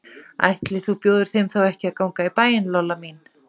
Ætli þú bjóðir þeim þá ekki að ganga í bæinn, Lolla mín.